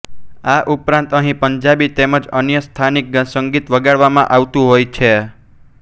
આ ઉપરાંત અહીં પંજાબી તેમ જ અન્ય સ્થાનીક સંગીત વગાડવામાં આવતું હોય છે